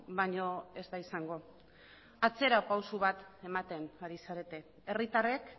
baino ez da izango atzera pausu bat ematen ari zarete herritarrek